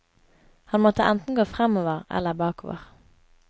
Han måtte enten gå fremover eller bakover.